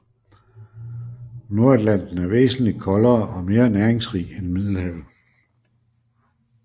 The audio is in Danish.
Nordatlanten er væsentligt koldere og mere næringsrig end Middelhavet